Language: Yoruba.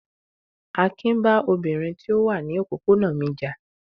Akin bá obìnrin tí ó wà ní òpópónà mi jà.